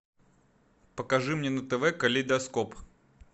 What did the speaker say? покажи мне на тв калейдоскоп